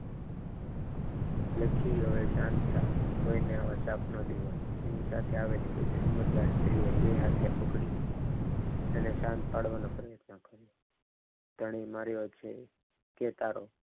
લખી હવે શાંત થા કોઈને આવો શ્રાપ ના દેવાય એની સાથે આવેલી એક સમજદાર સ્ત્રીએ બે હાથે પકડી તેને શાંત પાડવાનો પ્રયત્ન કર્યો ધણી મળ્યો છે કે તારો